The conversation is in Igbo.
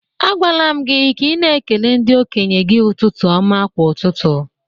Agwala m gị ka ị na ekele ndi-okenye gi ụtụtụ ọma kwa ụtụtụ